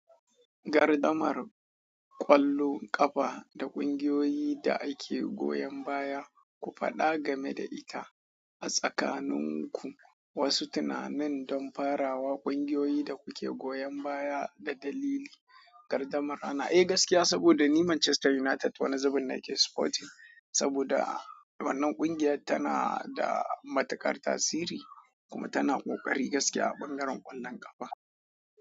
Gardan mar ƙwallon ƙafa da ƙungiyoyi da ake goyon baya, ku faɗa game da ita a tsakaninku wasu tunanin don farawa ƙungiyoyi da kuke goyon baya da dalili. Gardamar ana, eh gaskiya saboda ni Manchester United wani zabin nake supporting saboda wannan ƙungiyar tana da matuƙar tasiri kuma tana ƙoƙari gaskiya a bangaren ƙwallon ƙafa.